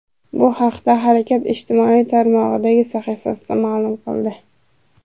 Bu haqda harakat ijtimoiy tarmoqdagi sahifasida ma’lum qildi .